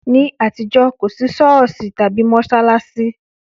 Ní àtijọ́, kò sí Sọ́ọ̀sì tàbí mọ́ṣáláṣí.